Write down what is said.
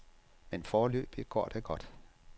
Men foreløbig går det godt.